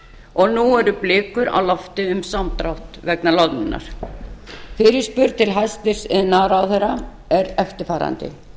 og nú eru blikur á lofti um samdrátt vegna loðnunnar fyrirspurn til hæstvirts iðnaðarráðherra er eftirfarandi